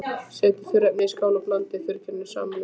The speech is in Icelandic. Setjið þurrefnin í skál og blandið þurrgerinu saman við.